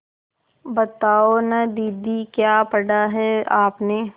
बताओ न दीदी क्या पढ़ा है आपने